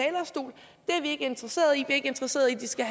er vi ikke interesserede i er ikke interesserede i at de skal